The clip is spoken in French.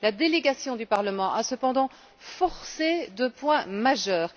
La délégation du Parlement a cependant forcé deux points majeurs.